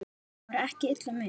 Það var ekki illa meint.